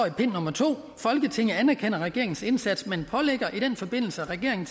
i pind nummer 2 folketinget anerkender regeringens indsats men pålægger i den forbindelse regeringen